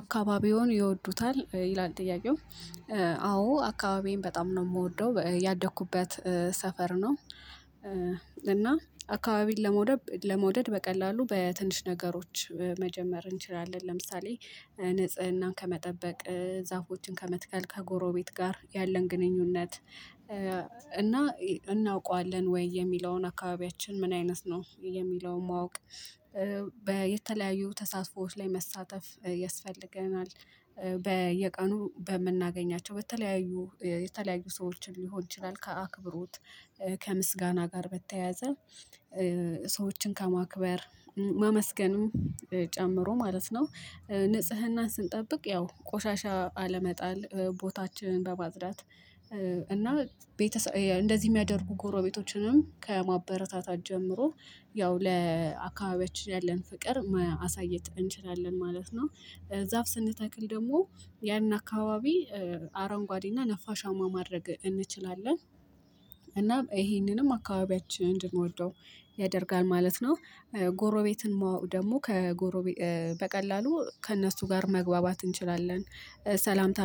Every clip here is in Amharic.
አካባቢውን ይወዱታል ይላል ጥያቄው? አዎ አካባቢዬን በጣም ነው የምወደው ያደኩበት ሰፈር ነው። እና አካባቢን ለመውደድ ለመውደድ በቀላሉ በትንሽ ነገሮች መጀመር እንችላለን ለምሳሌ ንጽህናን ከመጠበቅ ዛፎችን ከመትከል ከጎሮቤት ጋር ያለን ግንኙነት እና እናውቀዋለን ወይ የሚለውን አካባቢያችን ምን አይነት ነው የሚለውን ማወቅ? በየተለያዩ ተሳትፎዎች ላይ መሳተፍ ያስፈልገናል። በየቀኑ በምናገኛቸው በተለያዩ የተለያዩ ሰዎችን ሊሆን ይችላል ከአክብሮት ከምስጋና ጋር በተያያዘ። ሰዎችን ከማክበር ማመስገኑን ጨምሮ ማለት ነው። ንጽህናን ስንጠብቅ ያው ቆሻሻ አለመጣል ቦታችን በማጽዳት እና እንደዚህ የሚያደርጉ ጎረቤቶችንም ከማበረታታት ጀምሮ ያው ለአካባቢያችን ያለን ፍቅር ማሳየት እንችላለን ማለት ነው። ዛፍ ስንተክል ደግሞ ያንን አካባቢ አረንጓዴና ነፋሻማ ማድረግ እንችላለን። እና ይሄንንም አካባቢያችን እንድንወደው ያደርጋል ማለት ነው። ጎሮቤትን ማወቅ ደግሞ ከጎሮቤ በቀላሉ ከእነሱ ጋር መግባባት እንችላለን። ሰላምታ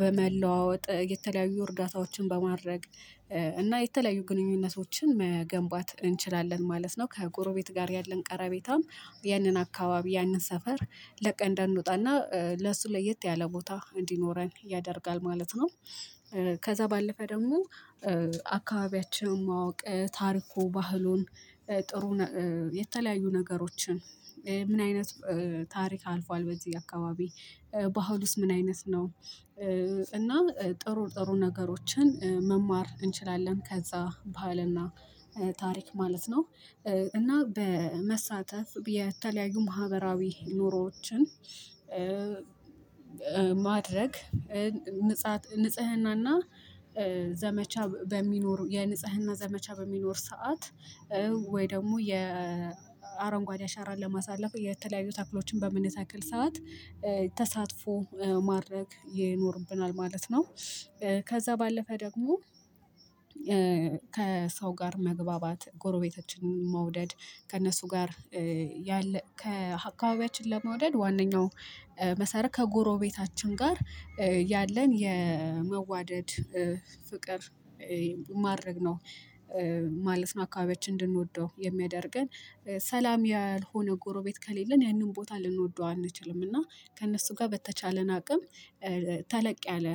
በመለዋወጥ የተለያዩ እርዳታዎችን በማድረግ እና የተለያዩ ግንኙነቶችን መገንባት እንችላለን ማለት ነው። ከጎረቤት ጋር ያለን ቀረቤታም ያንን አካባቢ ያንን ሰፈር ለቀን እንዳንወጣና ለሱ ለየት ያለ ቦታ እንዲኖረን ያደርጋል ማለት ነው። ከዛ ባለፈ ደግሞ አካባቢያችንን ማወቅ ታሪኩ ባህሉን ጥሩ የተለያዩ ነገሮችን ምን አይነት ታሪክ አልፏል በዚህ አካባቢ ባህል ውስጥ ምን አይነት ነው? እና ጥሩ ጥሩ ነገሮችን መማር እንችላለን ከዛ ባህልና ታሪክ ማለት ነው። እና በመሳተፍ የተለያዩ ማህበራዊ ኑሮዎችን ማድረግ ንጽህናና ዘመቻ በሚኖሩ የንጽህና ዘመቻ በሚኖር ሰዓት ወይ ደግሞ የአረንጓዴ አሻራን ለማሳለፍ የተለያዩ ተክሎችን በምን የተክል ሰዓት ተሳትፎ ማድረግ ይኖርብናል ማለት ነው። ከዛ ባለፈ ደግሞ ከሰው ጋር መግባባት ጎረቤታችንን መውደድ ከእነሱ ጋር ያለ ከአካባቢያችን ለመውደድ ዋናኛው መሰረት ከጎሮቤታችን ጋር ያለን የመዋደድ ፍቅር ማድረግ ነው። ማለት ነው አካባቢያችን እንድንወደው የሚያደርገን ሰላም ያልሆነ ጎረቤት ከሌለን ያንን ቦታ ልንወደው አንችልም እና ከእነሱ ጋር በተቻለን አቅም ተለቅ ያለ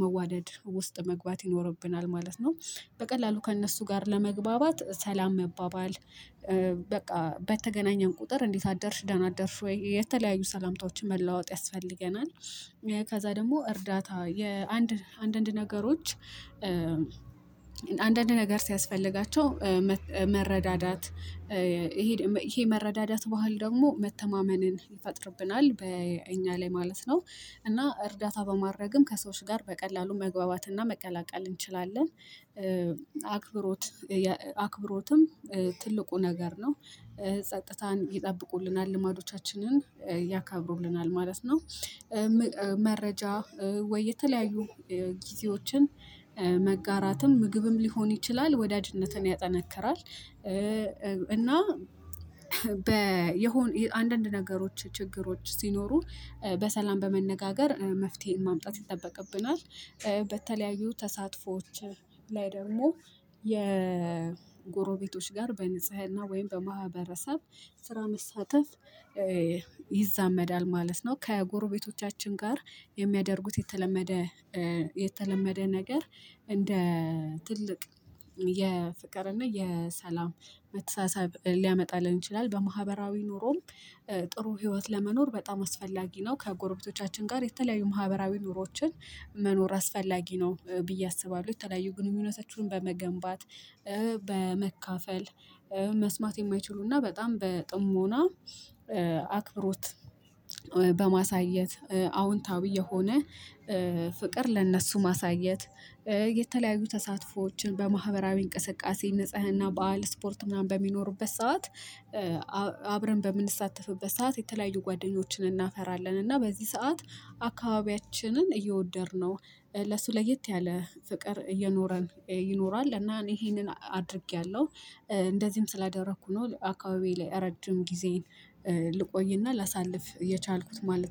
መዋደድ ውስጥ መግባት ይኖርብናል ማለት ነው። በቀላሉ ከእነሱ ጋር ለመግባባት ሰላም መባባል በቃ በተገናኘን ቁጥር እንዴት አደሽ ደና አደርሽ ወይ የተለያዩ ሰላምታዎችን መለዋወጥ ያስፈልገናል። ከዛ ደግሞ እርዳታ የአንድ አንድ አንድ ነገሮች አንድ አንድ ነገር ሲያስፈልጋቸው መረዳዳት ይሄ መረዳዳት ባህል ደግሞ መተማመንን ይፈጥርብናል በእኛ ላይ ማለት ነው። እና እርዳታ በማድረግም ከሰዎች ጋር በቀላሉ መግባባትና መቀላቀል እንችላለን። አክብሮት አክብሮትም ትልቁ ነገር ነው። ጸጥታን ይጠብቁልናል ልማዶቻችንን ያካብሩልናል ማለት ነው። መረጃ ወይ የተለያዩ ጊዜዎችን መጋራትም ምግብም ሊሆን ይችላል ወዳጅነትን ያጠነክራል እና በየሆነ አንዳንድ ነገሮች ችግሮች ሲኖሩ በሰላም በመነጋገር መፍትሄ ማምጣት ይጠበቅብናል። በተለያዩ ተሳትፎዎች ላይ ደግሞ የጎሮቤቶች ጋር በንጽህና ወይም በማህበረሰብ ስራ መሳተፍ ይዛመዳል ማለት ነው። ከጎረቤቶቻችን ጋር የሚያደርጉት የተለመደ የተለመደ ነገር እንደ ትልቅ የፍቅርና የሰላም መተሳሰብ ሊያመጣልን ይችላል በማህበራዊ ኑሮም ጥሩ ህይወት ለመኖር በጣም አስፈላጊ ነው። ከጎረቤቶቻችን ጋር የተለያዩ ማህበራዊ ኑሮችን መኖር አስፈላጊ ነው ብዬ አስባለሁ። የተለያዩ ግንኙነታችሁን በመገንባት በመካፈል መስማት የሚይችሉና በጣም በጥሞና አክብሮት በማሳየት አዎንታዊ የሆነ ፍቅር ለእነሱ ማሳየት የተለያዩ ተሳትፎዎችን በማህበራዊ እንቅስቃሴ ንጽህና በዓል ስፖርት ምናምን በሚኖሩበት ሰዓት። አብረን በምንሳተፍበት ሰዓት የተለያዩ ጓደኞችን እናፈራለን እና በዚህ ሰዓት አካባቢያችንን እየወደድነው ለሱ ለየት ያለ ፍቅር እየኖረን ይኖራል። እና እኔ ይሄንን አድርጌያለሁ እንደዚህም ስላደረኩ ነው አካባቢ ላይ ረጅም ጊዜን ልቆይና ላሳልፍ የቻልኩት ማለት